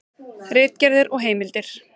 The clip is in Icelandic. Ritgerðir og heimildir.